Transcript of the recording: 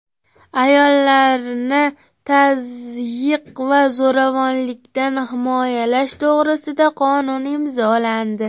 Ayollarni tazyiq va zo‘ravonlikdan himoyalash to‘g‘risida qonun imzolandi.